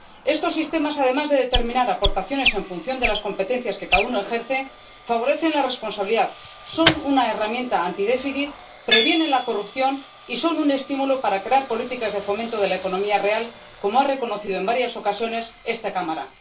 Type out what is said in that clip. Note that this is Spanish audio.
Estos sistemas, además de determinar aportaciones en función de las competencias que cada uno ejerce, favorecen la responsabilidad, son una herramienta antidéficit, previenen la corrupción y son un estímulo para crear políticas de fomento de la economía real, como ha reconocido en varias ocasiones esta Cámara.